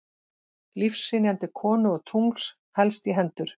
Lífshrynjandi konu og tungls helst í hendur.